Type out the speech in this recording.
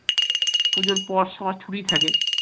পুজোর পর সবার ছুটি থাকে